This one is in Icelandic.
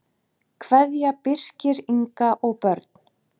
Kveðja, Birkir, Inga og börn.